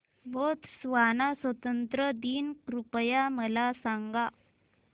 Botswana स्वातंत्र्य दिन कृपया मला सांगा